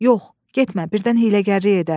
Yox, getmə, birdən hiyləgərlik edər.